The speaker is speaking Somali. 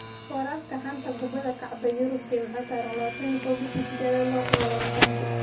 Wararka xanta kubada cagta Yurub Jimce 21.08.2020: Wijnaldum, Magalhaes, Dalot, Smalling, Brooks, Maitland-Niles